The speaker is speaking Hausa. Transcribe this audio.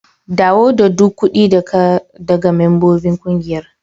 Dawo da duk kudi da ka daga membobin ƙungiyar.